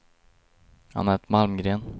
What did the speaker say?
Annette Malmgren